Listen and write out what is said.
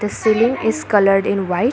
Saloon is coloured in white.